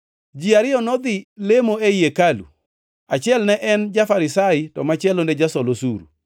“Ji ariyo nodhi lemo ei hekalu, achiel ne en ja-Farisai to machielo ne jasol osuru.